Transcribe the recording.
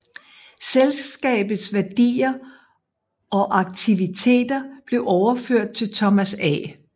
Selskabets værdier og aktiviteter blev overført til Thomas A